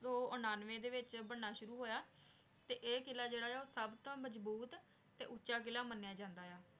ਸੂ ਉਨਾਨ੍ਵਾਯ ਦੇ ਵਿਚ ਬੰਨਾ ਸ਼ੁਰੂ ਹੋਯਾ ਤੇ ਆਯ ਕਿਲਾ ਜੇਰਾ ਆਯ ਆ ਸਬ ਨਾਲੋਂ ਮਜਬੂਤ ਟੀ ਓਹ੍ਕਾ ਕਿਲਾ ਮਾਨ੍ਯ ਜਾਂਦਾ ਆਯ ਆ